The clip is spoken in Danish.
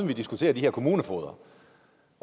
vi diskuterer de her kommunefogeder